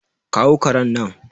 kawo karen nan!